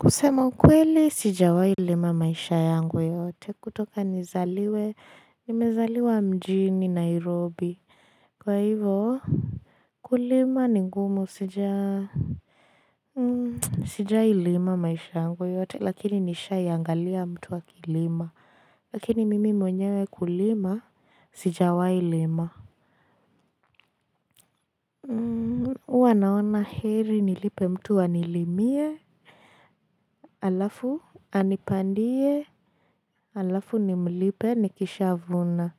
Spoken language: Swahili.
Kusema kweli sijawai lima maishani yangu yote kutoka nizaliwe nimezaliwa mjini nairobi kwa hivyo kulima ni ngumu sijailima maisha yangu yote lakini nishaiangalia mtu wa kilima lakini mimi mwenyewe kulima sija wa ilima huwa naona heri nilipe mtu wanilimie alafu anipandie alafu nimlipe nikishavuna